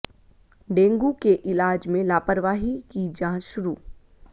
dengue के इलाज में लापरवाही की जांच शुरू